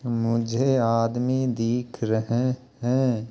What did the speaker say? मुझे आदमी दीख रहे हैं।